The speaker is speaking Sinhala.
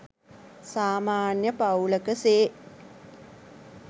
සාමාන්‍ය පවුලක සේ